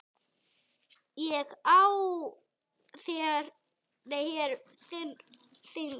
Á ég hér við þing.